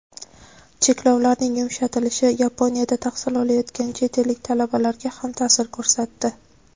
Cheklovlarning yumshatilishi Yaponiyada tahsil olayotgan chet ellik talabalarga ham ta’sir ko‘rsatdi.